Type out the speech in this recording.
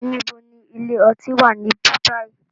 Níbo ni ilé ọtí wá níbí bayi?